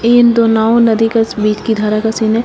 इन दो नावों नदी के बीच धारा क सीन है।